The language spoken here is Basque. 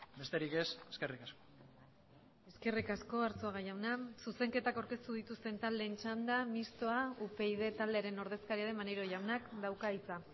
besterik ez eskerrik asko eskerrik asko arzuaga jauna zuzenketak aurkeztu dituzten taldeen txanda mistoa upyd taldearen ordezkaria den maneiro jaunak dauka hitza